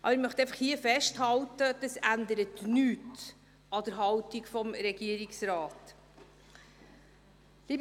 Ich möchte hier festhalten, dass dies nichts an der Haltung des Regierungsrates ändert.